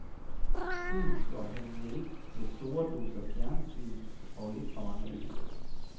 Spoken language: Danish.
Tiden slår han ihjel med store doser fjernsyn og lidt for mange øl.